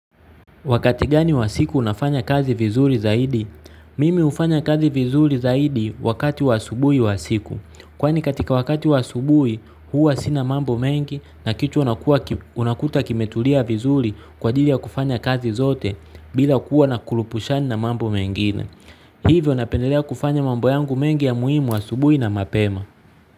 Wakati gani wa siku unafanya kazi vizuri zaidi? Mimi hufanya kazi vizuri zaidi wakati wa subuhi wa siku. Kwani katika wakati wa asubuhi huwa sina mambo mengi na kichwa unakuta kimetulia vizuri kwa ajili ya kufanya kazi zote bila kuwa na kurupushani na mambo mengine. Hivyo napendelea kufanya mambo yangu mengi ya muhimu asubuhi na mapema.